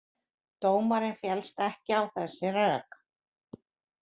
Dómarinn fellst ekki á þessi rök